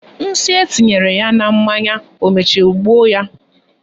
Nsị etinyere ya na mmanya o mechara gbuo ya?